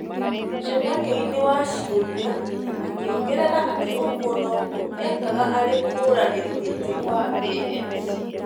Mũcemanio-nĩ wa ciũria, akĩongerera atĩ ũguo noguo ekaga arĩ mũhũranĩri gĩtĩ wa ANC.